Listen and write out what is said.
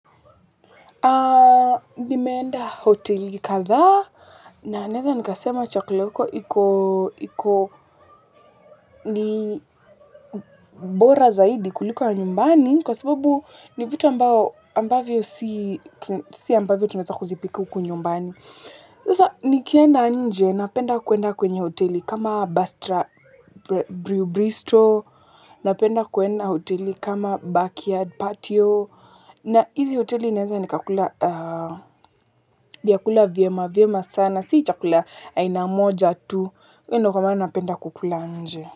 Nimeenda hoteli kadhaa na naweza nikasema chakula ya huko iko ni bora zaidi kuliko ya nyumbani kwa sababu ni vitu ambavyo si ambavyo tunaweza kuzipika huku nyumbani. Sasa nikienda nje napenda kuenda kwenye hoteli kama Bastra Bristow, napenda kuenda hoteli kama Backyard Patio na hizi hoteli naweza nikakula vyakula vyema vyema sana si chakula aina moja tu, hiyo ndio kwa maana napenda kukula nje.